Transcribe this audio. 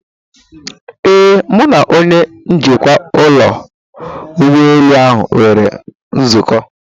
Ee, Mụ na onye njikwa ụlọ ụgbọelu ahụ nwere nzukọ.